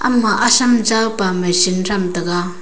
ama asham jawpa machine tham taga.